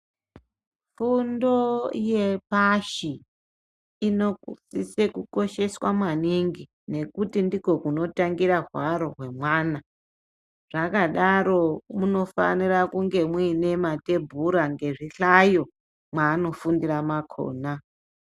Fundo yepashi inosise kosheswa maningi ngekuti ndiko kunotangira hwaro hwemwana zvakadaro munofanira kunge mwine matebhura ngezvihlayo mwanofundira makona.